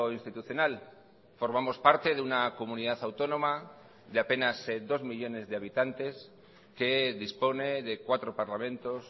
institucional formamos parte de una comunidad autónoma de apenas dos millónes de habitantes que dispone de cuatro parlamentos